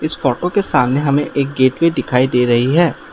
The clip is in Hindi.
इस फोटो के सामने हमें एक गेट भी दिखाई दे रही है।